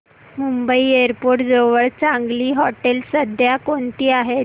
Mumbai airport जवळ चांगली हॉटेलं सध्या कोणती आहेत